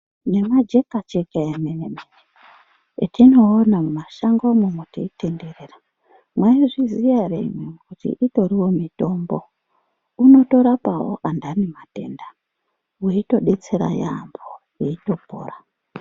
Nemajeka jeka emene atinoona mumashango umo teinderera maizviziva ere imimi kuti itoriwo mitombo Initorapawo andani matenda eitodetsera yambo eitopora.